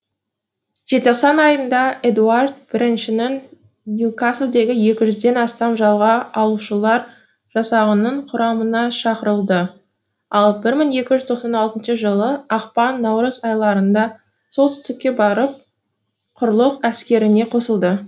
желтоқсан айында эдуард біріншінің ньюкаслдегі екі жүзден астам жалға алушылар жасағының құрамына шақырылды ал бір мың екі жүз тоқсан алтыншы жылы ақпан наурыз айларында солтүстікке барып құрлық әскеріне қосылды